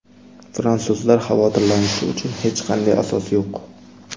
Fransuzlar xavotirlanishi uchun hech qanday asos yo‘q.